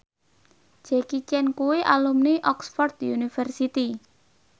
Jackie Chan kuwi alumni Oxford university